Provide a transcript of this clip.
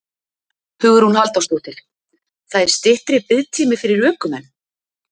Hugrún Halldórsdóttir: Það er styttri biðtími fyrir ökumenn?